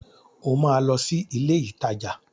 O máa lọ sí ilé-ìtajà.